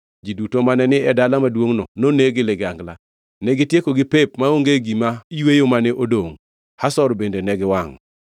Ji duto mane ni e dala maduongʼno noneg gi ligangla. Negitiekogi pep maonge gima yweyo mane odongʼ, Hazor bende ne giwangʼo.